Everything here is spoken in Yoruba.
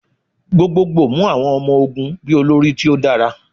Gbogbogbo mu awọn ọmọ-ogun bi olori ti o dara